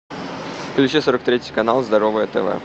включи сорок третий канал здоровое тв